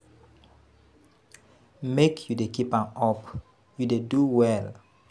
Make you dey keep am up, you dey do well.